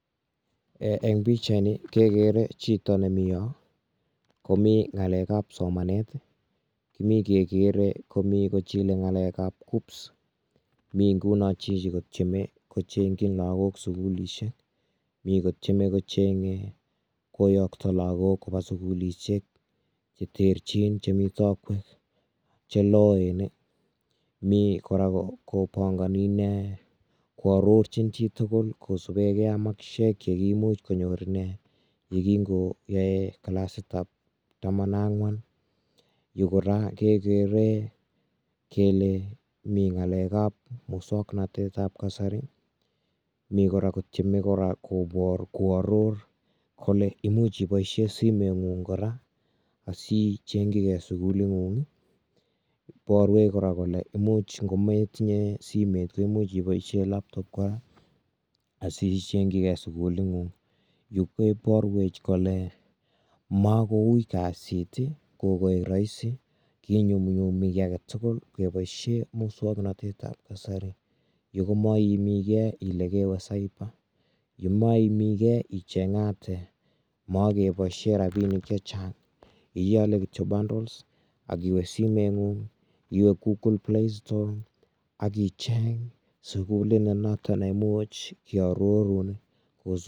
eh Eng pichaitni kegere chito nemiyo komi ngalekab somanet kimi kegere komi kochile ngalekab kuccps mi nguno chichi kotyeme kochengchi lagok sugulisiek mi kotyeme kochengji koyokto lagok koba sugulisiek cheterchin chemi taakwek cheloen[i] mi kora kopangani ine koarorchin chitugul kosubekei ak makisiek chekimuch konyor ine kongoyae clasitab taman ak angwan yu kora kekere kele mi ngalekab musoknotetab kasari mi kora kotyeme kora koaror kole imuch iboisie simengung kora asiichengchigei sukulingung borwech kora kole imuch ngometinye simet imuch iboisie laptop kora asiichengjigei sukulingung yu keborwech kole makouui kasit kokoek rahisi kinyumnyumi ki aketugul keboisie musoknotetab kasari yu komaiimigei ile kewe cyber yu maiimigei ichengate mogeboisie rabinik chechang iole kityo bundles akiwe simetngung iwe google playstore akicheng sukulit notoneimuch kiarorun.